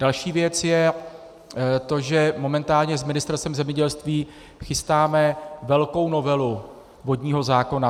Další věc je to, že momentálně s Ministerstvem zemědělství chystáme velkou novelu vodního zákona.